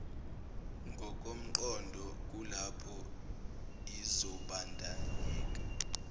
ngokomqondo kulapho izobandanyeka